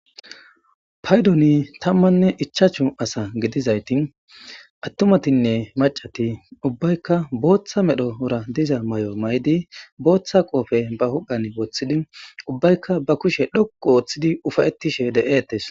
paydoni tammanne ichaachu asa gidizayti attumatinne macati ubbaykka booththa medhdhorra diza may'o may'di booththa qofe ba huphphan wooththidi ubbaykka ba kushe dhoqu ooththidi ufayettishe de'eettes